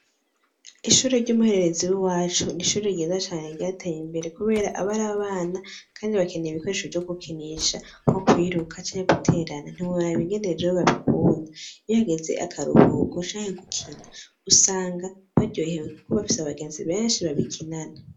Ishuri ry'umuhererezi w'i wacu nishuri ryiza cane ryateye imbere, kubera abari abana, kandi bakeneye ibikoresho vyo gukinisha nkwo kuiruka canye guterana ntibori abibigenereje yo babikunda ihageze akaruhuko canke gukina usanga baryohewe, kuko ubapfise abagenzi benshi babikinana.